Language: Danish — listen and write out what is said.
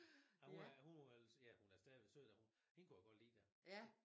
Ja hun var hun var ja hun er stadigvæk sød da hun hende kunne jeg godt lide da